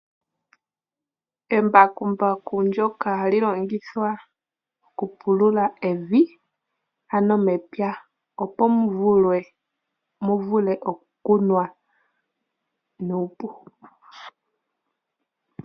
Embakumbaku ndyoka hali longithwa okupulula evi, ano mepya, opo mu vule okukunwa nuupu.